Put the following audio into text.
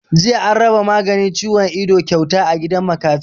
Jiya an raba maganin ciwon ido kyauta a gidan makafi